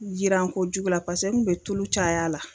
yiran kojugu la pase n kun bɛ tulu cay'a la.